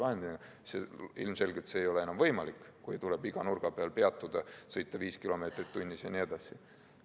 Ilmselgelt ei oleks enam võimalik, kui tuleb iga nurga peal peatuda, sõita kiirusega 5 km/h jne.